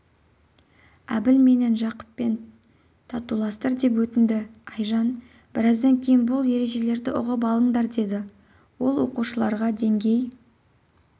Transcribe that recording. әбіл менен жақыппен татуластыр деп өтінді айжан біраздан кейін бұл ережелерді ұғып алыңдар деді ол оқушыларға деңгей